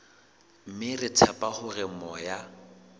mme re tshepa hore moya